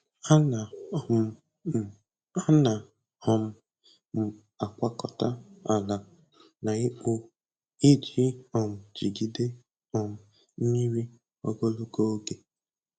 Ana um m Ana um m agwakọta ala na ikpo iji um jigide um mmiri ogologo oge.